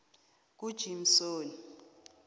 kujimsoni